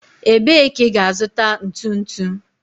Ebee ka ị ga-azụta ntu ntu?